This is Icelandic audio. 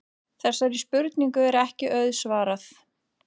Þessari spurningu er ekki auðsvarað.